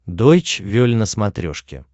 дойч вель на смотрешке